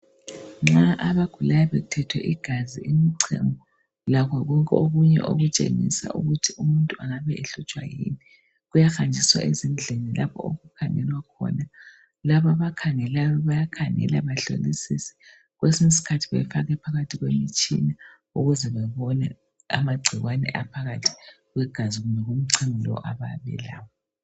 Nxa abagulayo bethethwe igazi, umchemo. Lakho konke okunye okutshengisa ukuthi umuntu angabe ehlutshwa yini. Kuhanjiswa ezindlini lapha okukhangelwa khona..Laba abakhangelayo, bayakhangela, bahlolisise. Kwesinye isikhathi kufakwe phakathi komtshina. Ukuze babone, amagcikwane ayabe ephakathi kwegaxi, kumbe umchemo abayabe belawo.